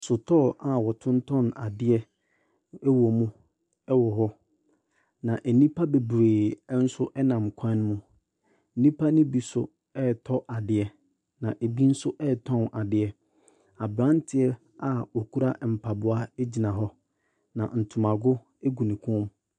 Sotɔɔ a wɔtotɔn adeɛ ɛwɔ mu ɛwɔ hɔ na enipa bebree nso ɛnam kwan ne mu. Nipa ne bi so ɛɛtɔ adeɛ na ebi so ɛɛtɔn adeɛ. Abranteɛ a okura mpaboa egyina hɔ na ntomago egu ne kɔn mu.